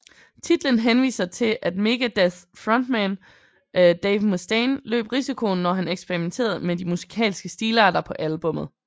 Titlen henviser til at Megadeths frontmand Dave Mustaine løb risikoen når han eksperimenterede med de musikalske stilarter på albummet